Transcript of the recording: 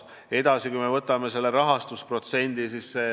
Edasi, võtame rahastusprotsendi.